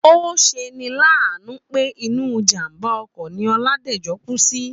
Ó se ni láàánú pé inú ìjàmbá okò ni Oládèjo kú sí